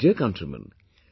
My dear countrymen,